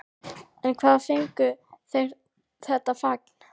En hvaðan fengu þeir þetta fagn?